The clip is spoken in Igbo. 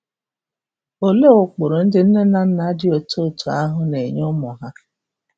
Olee ụkpụrụ ndị nne na nna dị otú otú ahụ na-enye ụmụ ha?